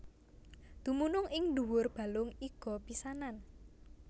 Dumunung ing ndhuwur balung iga pisanan